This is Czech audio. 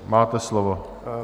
Máte slovo.